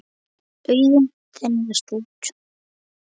Augun þenjast út.